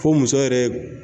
Fo muso yɛrɛ ye